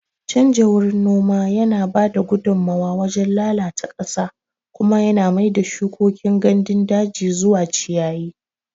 Canja wurin noma yana ba da gudummawar wajen lalata ƙasa kuma yana mai da shukokin gandun daji zuwa ciyayi.